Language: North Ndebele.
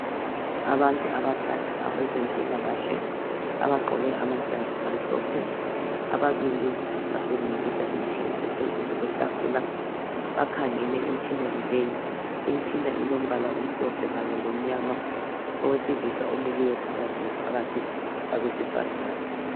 Abantu abathathu abezempilakahle abagqoke amajazi amhlophe ababili basebenzisa imitshina ephezulu kwetafula bakhangele emitshineni leyi imitshina ilombala omhlophe kanye lomnyama owesilisa omileyo phakathi la phakathi kwabesifazana.